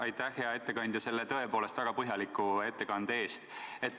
Aitäh, hea ettekandja, selle tõepoolest väga põhjaliku ettekande eest!